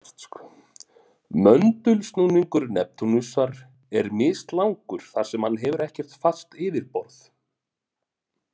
Möndulsnúningur Neptúnusar er mislangur þar sem hann hefur ekkert fast yfirborð.